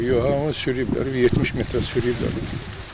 Yox, yox, yox, onu sürükləyiblər, 70 metrə sürükləyiblər.